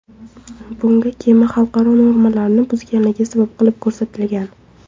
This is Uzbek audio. Bunga kema xalqaro normalarni buzganligi sabab qilib ko‘rsatilgan.